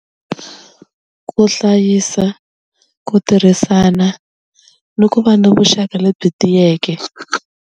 Ku hlayisa ku tirhisana ni ku va ni vuxaka lebyi tiyeke.